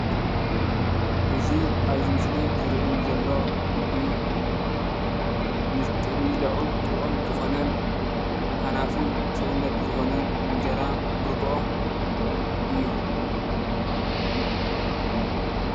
እዚ ኣብዚ ምስሊዝረኣየኒ ዘሎ ምግቢ ንምብልዑ ጡዑም ዝኮነን ሃናፂን ሰውነት ዝኾነን እንጀራ ብርግኦ እዮም።